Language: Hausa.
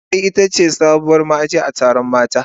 Zugwai ita ce sabuwar ma'aji a taron mata.